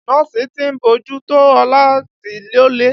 Nọ́ọ̀sì tí ń bójú tó Ọlá ti lọlé